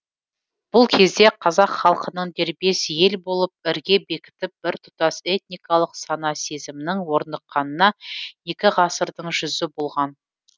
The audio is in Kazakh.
бұл кезде қазақ халқының дербес ел болып ірге бекітіп біртұтас этникалық сана сезімнің орныққанына екі ғасырдың жүзі болған